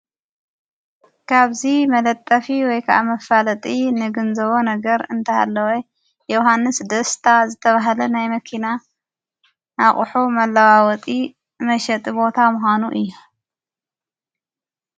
ካብዙ መለጠፊ ወይከዓ መፋለጢ ንግንዘቦ ነገር እንተሃለወ ዮሓንስ ደስታ ዝተብሃለ ናይ መኪና ኣቝሑ መለዋወጢ መሸጢ ቦታ ምካኑ እዩ።